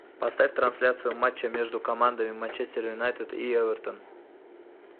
поставь трансляцию матча между командами манчестер юнайтед и эвертон